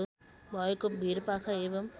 भएको भिरपाखा एवं